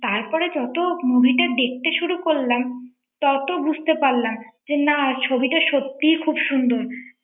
তারপরে যত movie টা দেখতে শুরু করলাম তত বুঝতে পারলাম যে না ছবিটা সত্যিই খুব সুন্দর